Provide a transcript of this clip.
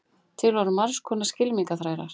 til voru margs konar skylmingaþrælar